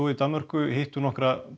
í Danmörku hittu nokkra